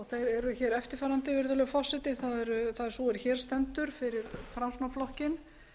þeir eru eftirfarandi virðulegur forseti það er sú er hér stendur fyrir framsóknarflokkinn